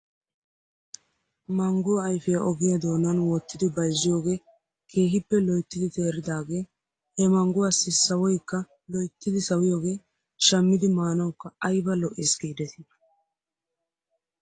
Mangguwaa ayfiyaa ogiyaa doonan wottidi bayzziyoogee keehippe loyttidi teeridaagee he mangguwaassi sawoykka loyttidi sawiyaagee shamidi maanawkka ayba lo'es giidetii .